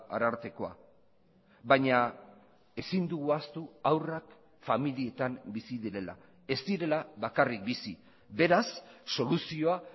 arartekoa baina ezin dugu ahaztu haurrak familietan bizi direla ez direla bakarrik bizi beraz soluzioa